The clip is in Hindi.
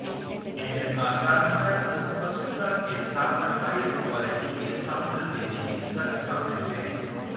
यह असाधारण स्पष्टता के साथ हायर क्वालिटी के साउंड देने में सक्षम है